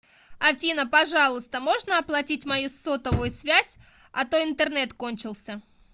афина пожалуйста можно оплатить мою сотовую связь а то интернет кончился